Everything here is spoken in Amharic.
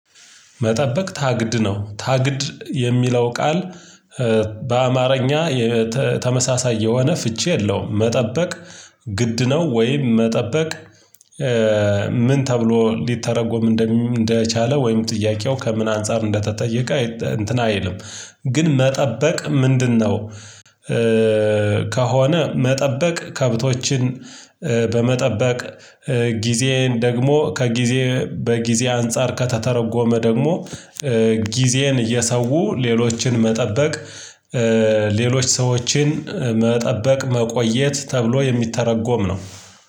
መጠበቅ ታግድ ነው ታግድ የሚለው ቃል በአማርኛ የተ ተመሳሳይ የሆነ ፍቺ የለውም። መጠበቅ ግድ ነው ወይም መጠበቅ። ምን ተብሎ ሊተረጎም እንደሚ እንደቻለ ወይም ጥያቄው ከምን አንፃር እንደተጠየቀ እንትን አይልም ግን መጠበቅ ምንድነው? ከሆነ መጠበቅ ከብቶችን በመጠበቅ ጊዜዬን ደግሞ ከጊዜ በጊዜ አንፃር ከተተረጎመ ደግሞ። ጊዜን እየሰው ሌሎችን መጠበቅ። ሌሎች ሰዎችን መጠበቅ መቆየት ተብሎ የሚተረጎም ነው።